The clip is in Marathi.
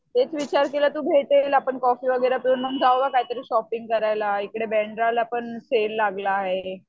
तेच विचार केलं तू भेटेल आपण कॉफी वगैरा पिऊन मग जाऊया काहीतरी शॉपिंग करायला. इकडे बांद्राला पण सेल लागला आहे.